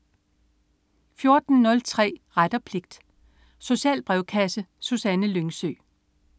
14.03 Ret og pligt. Social brevkasse. Susanne Lyngsø